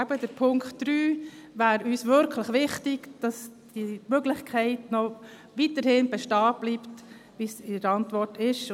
– Weil uns der Punkt 3 eben wirklich wichtig ist – also, dass die Möglichkeit weiterhin bestehen bleibt, wie in der Antwort steht.